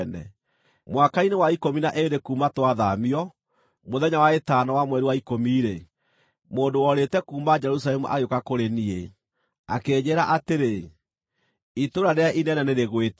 Mwaka-inĩ wa ikũmi na ĩĩrĩ kuuma twathaamio, mũthenya wa ĩtano wa mweri wa ikũmi-rĩ, mũndũ worĩte kuuma Jerusalemu agĩũka kũrĩ niĩ, akĩnjĩĩra atĩrĩ, “Itũũra rĩrĩa inene nĩrĩgwĩte!”